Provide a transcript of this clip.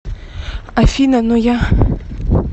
афина но я